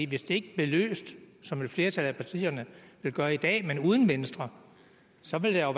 hvis det ikke bliver løst som et flertal af partierne vil gøre i dag men uden venstre så vil der